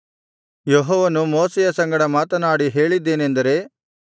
ಯೆಹೋವನು ಮೋಶೆಯ ಸಂಗಡ ಮಾತನಾಡಿ ಹೇಳಿದ್ದೇನೆಂದರೆ